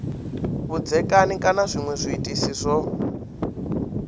vhudzekani kana zwinwe zwiitisi zwo